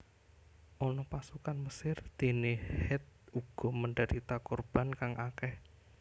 Ana pasukan Mesir dene Het uga menderita korban kang akeh